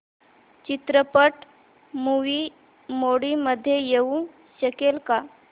चित्रपट movie mode मध्ये येऊ शकेल का